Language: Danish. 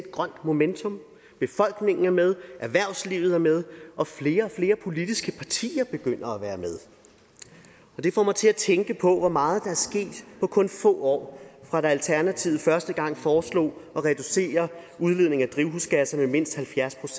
grønt momentum befolkningen er med erhvervslivet er med og flere og flere politiske partier begynder at være med det får mig til at tænke på hvor meget der er sket på kun få år fra alternativet første gang foreslog at reducere udledningen af drivhusgasser med mindst halvfjerds